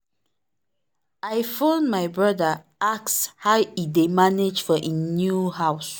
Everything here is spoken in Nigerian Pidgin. i phone my brother ask how e dey manage for him new house.